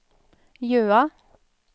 Jøa